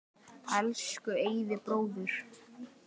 Elsku Eyvi bróðir.